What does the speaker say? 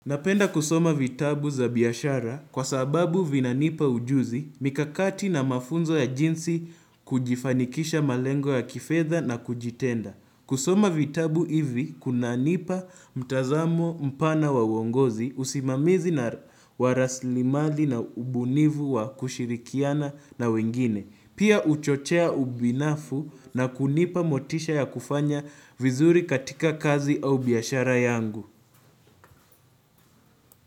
Napenda kusoma vitabu za biashara kwa sababu vinanipa ujuzi, mikakati na mafunzo ya jinsi kujifanikisha malengo ya kifedha na kujitenda. Kusoma vitabu hivi, kunananipa mtazamo mpana wa uongozi, usimamizi na waraslimali na ubunivu wa kushirikiana na wengine. Pia uchochea ubinafu na kunipa motisha ya kufanya vizuri katika kazi au biashara yangu.